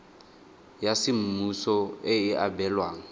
ya semmuso e e abelwang